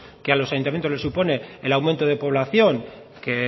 que a los ayuntamientos les supone el aumento de población que